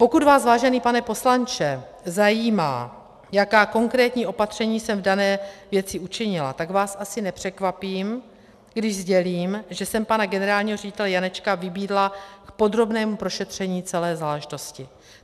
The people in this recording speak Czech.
Pokud vás, vážený pane poslanče, zajímá, jaká konkrétní opatření jsem v dané věci učinila, tak vás asi nepřekvapím, když sdělím, že jsem pana generálního ředitele Janečka vybídla k podrobnému prošetření celé záležitosti.